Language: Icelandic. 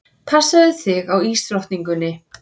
Passaðu þig á ísdrottningunni.